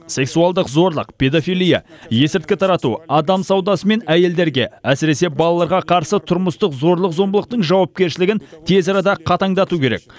сексуалдық зорлық педофилия есірткі тарату адам саудасы мен әйелдерге әсіресе балаларға қарсы тұрмыстық зорлық зомбылықтың жауапкершілігін тез арада қатаңдату керек